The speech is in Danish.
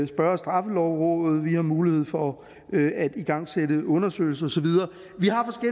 spørge straffelovrådet vi har mulighed for at igangsætte en undersøgelse og så videre